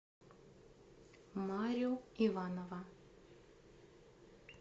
марю иванова